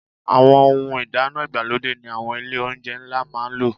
Àwọn ohun ìdáná ìgbàlódé ni àwọn ilé-oúnjẹ ńlá máa ń lò.